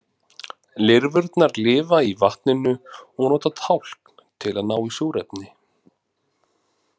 Lirfurnar lifa í vatninu og nota tálkn til að ná í súrefni.